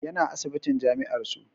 Yana asibitin jami'ar su